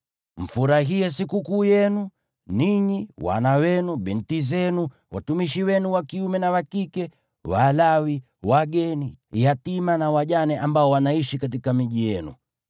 Mfurahie sikukuu yenu, ninyi, wana wenu, binti zenu, watumishi wenu wa kiume na wa kike, Walawi, wageni, yatima na wajane ambao wanaishi katika miji yenu.